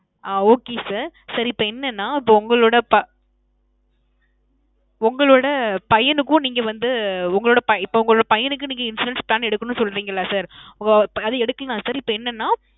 ஆ Okay sir. sir இப்போ என்னனா இப்போ உங்களோட ~. உங்களோட பையனுக்கும் நீங்க வந்து உங்களோட ~ இப்போ உங்களோட பையனுக்கு நீங்க insurance plan எடுக்கணும்னு சொல்றீங்கள்ல sir. ~ அது எடுக்கலாம் sir இப்போ என்னன்னா